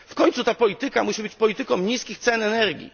w końcu ta polityka musi być polityką niskich cen energii.